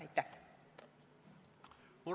Aitäh!